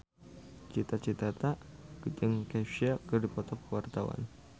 Cita Citata jeung Kesha keur dipoto ku wartawan